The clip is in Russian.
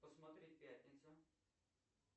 посмотреть пятница